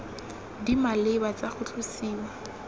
di maleba tsa go tlosiwa